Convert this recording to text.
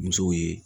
Musow ye